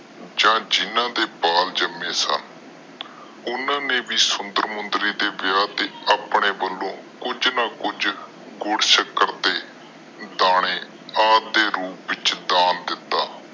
ਜਾ ਜਿਨ੍ਹਾਂ ਦੇ ਬਾਲ ਜਾਮੇ ਸਨ ਓਹਨਾ ਨੇ ਵੀ ਸੁੰਦਰ ਮੁੰਦਰੀ ਦੇ ਵਿਆਹ ਦੇ ਆਪਣੇ ਵਲੋਂ ਕੁਛ ਨਾ ਕੁਛ ਗੁੜ ਸ਼ੱਕਰ ਤੇ ਦਾਣੇ ਆਦਿ ਰੂਪ ਵਿਚ ਦਾਨ ਦਿੱਤਾ।